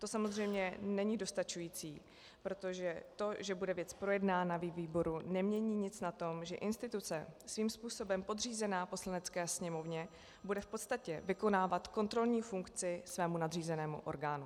To samozřejmě není dostačující, protože to, že bude věc projednána ve výboru, nemění nic na tom, že instituce svým způsobem podřízená Poslanecké sněmovně bude v podstatě vykonávat kontrolní funkci svému nadřízenému orgánu.